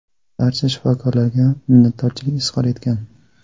barcha shifokorlarga minnatdorlik izhor etgan.